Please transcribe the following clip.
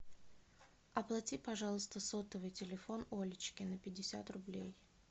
оплати пожалуйста сотовый телефон олечки на пятьдесят рублей